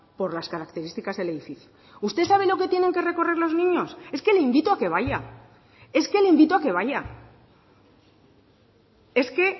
por las características del edificio usted sabe lo que tienen que recorrer los niños es que le invito a que vaya es que le invito a que vaya es que